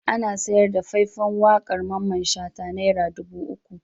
Ana sayar da fai-fan waƙar Mamman Shata naira dubu uku.